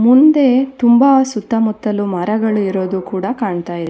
ಮುಂದೆ ತುಂಬಾ ಸುತ್ತಮುತ್ತಲು ಮರಗಳು ಇರೋದು ಕೂಡ ಕಾಣ್ತಾಯಿದೆ.